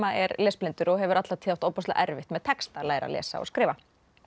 er lesblindur og hefur alla tíð átt ofboðslega erfitt með texta að læra að lesa og skrifa